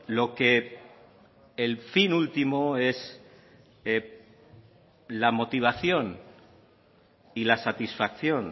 lo que el fin último es la motivación y la satisfacción